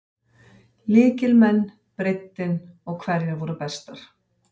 Lykilmenn, breiddin og hverjar voru bestar?